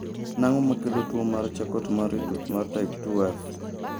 En ang'o makelo tuwo mar Charcot Marie Tooth mar type 2F?